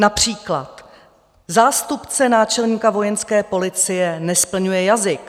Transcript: Například zástupce náčelníka Vojenské policie nesplňuje jazyk.